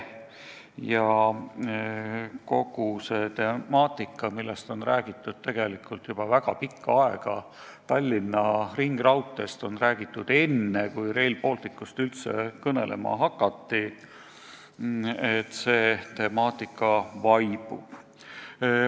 Kogu see temaatika, millest on räägitud tegelikult juba väga pikka aega – Tallinna ringraudteest hakati rääkima enne kui Rail Balticust –, kipub vaibuma.